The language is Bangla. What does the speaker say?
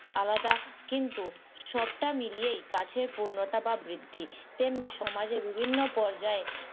আলাদা কিন্তু সবটা মিলিয়েই গাছের পূর্ণতা বা বৃদ্ধি। তেমনি সমাজের বিভিন্ন পর্যায়ে,